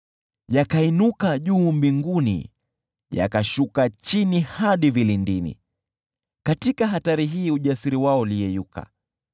Yakainuka juu mbinguni, yakashuka chini hadi vilindini, katika hatari hii ujasiri wao uliyeyuka.